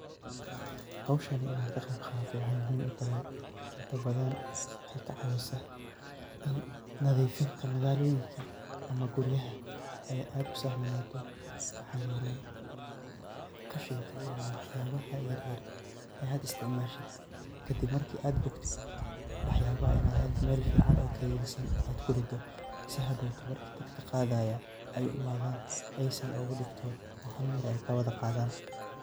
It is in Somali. Howsahni in aan ka qiib qaato waxay muhiim utahay inta badan waxaay ka caawisaa in nadiifinta magaalooyinka ama guriyaha ay aad u sahlanaato. Maxaa yeelay khashinka ama waxyaabaha yeryer ee aad istacmaashid kadib marka aad boktid, waxyaabah in aad hadba meel ficaan oo kayedsan aad ku rido si hadhowto marka dadka qaadaaya ay u imaadaan aysan ugu dhibtoon oo halmar ay kaa wada qaadaan.